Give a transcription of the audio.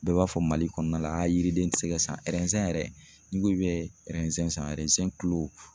Bɛɛ b'a fɔ Mali kɔnɔna la a yiriden ti se ka san yɛrɛ n'i ko i bɛ san